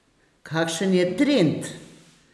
Kakšen je trend?